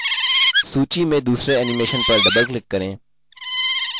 सूची में दूसरे animation पर doubleclick करें यह wedges option है जिसे हमने set किया